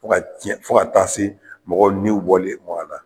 Fo ka diɲɛ fo ka taa se mɔgɔw niw bɔli ma a la.